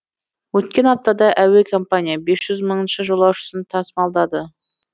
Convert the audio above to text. өткен аптада әуе компания бес жүз мыңыншы жолаушысын тасымалдады